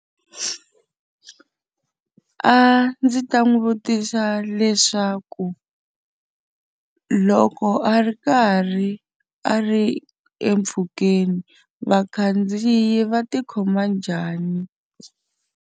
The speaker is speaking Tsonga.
A ndzi ta n'wi vutisa leswaku, loko a ri karhi a ri m mpfhukeni vakhandziyi va ti khoma njhani?